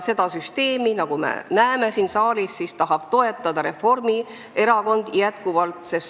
Seda süsteemi, nagu me näeme siin saalis, tahab Reformierakond jätkuvalt toetada.